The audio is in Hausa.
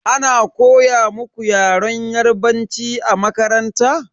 Ana koya muku Yaren yarbanci a makaranta?